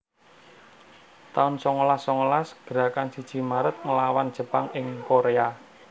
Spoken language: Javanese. taun songolas songolas Gerakan siji Maret nglawan Jepang ing Korea